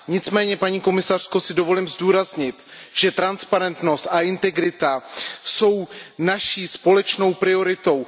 Nicméně, paní komisařko, si dovolím zdůraznit, že transparentnost a integrita jsou naší společnou prioritou.